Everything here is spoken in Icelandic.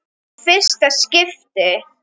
Í fyrsta skipti.